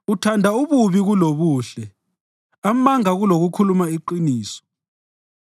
Uthanda ububi kulobuhle, amanga kulokukhuluma iqiniso.